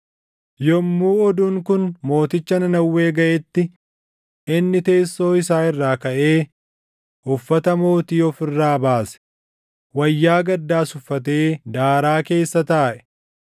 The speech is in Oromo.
Yommuu oduun kun mooticha Nanawwee gaʼetti inni teessoo isaa irraa kaʼee uffata mootii of irraa baase; wayyaa gaddaas uffatee daaraa keessa taaʼe.